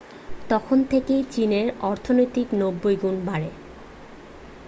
তখন থেকে চীনের অর্থনীতি 90 গুণ বাড়ে